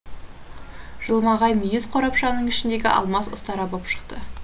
жылмағай мүйіз қорапшаның ішіндегі алмас ұстара боп шықты